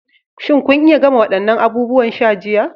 Shin kun iya gama waɗannan abubuwan sha jiya?